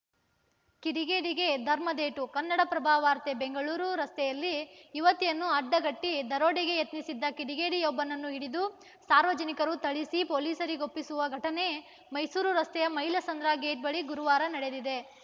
ಕಿಡಿಗೇಡಿಗೆ ಧರ್ಮದೇಟು ಕನ್ನಡಪ್ರಭ ವಾರ್ತೆ ಬೆಂಗಳೂರು ರಸ್ತೆಯಲ್ಲಿ ಯುವತಿಯನ್ನು ಅಡ್ಡಗಟ್ಟಿದರೋಡೆಗೆ ಯತ್ನಿಸಿದ್ದ ಕಿಡಿಗೇಡಿಯೊಬ್ಬನನ್ನು ಹಿಡಿದು ಸಾರ್ವಜನಿಕರು ಥಳಿಸಿ ಪೊಲೀಸರಿಗೊಪ್ಪಿಸಿರುವ ಘಟನೆ ಮೈಸೂರು ರಸ್ತೆಯ ಮೈಲಸಂದ್ರ ಗೇಟ್‌ ಬಳಿ ಗುರುವಾರ ನಡೆದಿದೆ